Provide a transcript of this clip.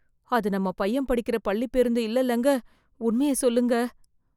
அது நம்ம பையன் படிக்கிற பள்ளிப்பேருந்து இல்லைலங்க? உண்மைய சொல்லுங்க.